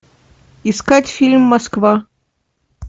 искать фильм москва